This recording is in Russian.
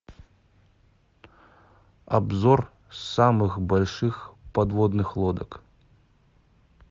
обзор самых больших подводных лодок